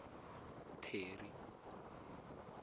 terry